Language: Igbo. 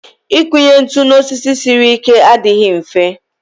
Ịkụnye ntụ n'osisi siri ike adịghị mfe